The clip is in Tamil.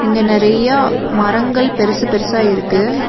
இங்க நெறையா மரங்கள் பெருசு பெருசா இருக்கு.